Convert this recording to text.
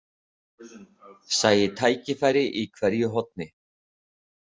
Sæi tækifæri í hverju horni.